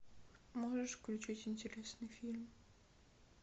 можешь включить интересный фильм